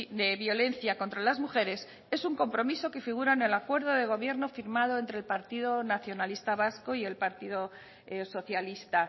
de violencia contra las mujeres es un compromiso que figura en el acuerdo de gobierno firmado entre el partido nacionalista vasco y el partido socialista